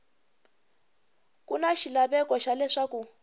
ku na xilaveko xa leswaku